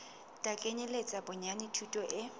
tla kenyeletsa bonyane thuto e